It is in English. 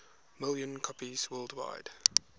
million copies worldwide